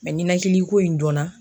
ninɛkiliko in dɔnna.